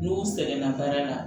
N'u sɛgɛnna baara la